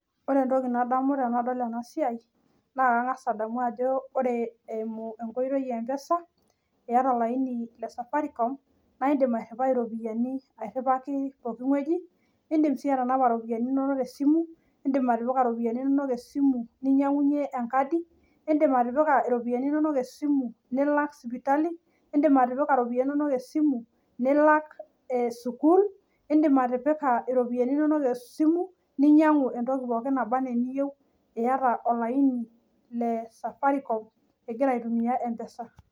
Oree entokii nadamuu tenadol enaa siai naa oree eeimu enkotoii eempesa iyaata olainii le safaricom naa indim aairiwaki pokiiweujii nidim sii atanapa iropiyianii inonok tee simu ninyangunyiee enkadii nidim sii atalaa sipitali nilak sii sukul ninyanguk sii entokii pooikin naabaa enaa eniyieu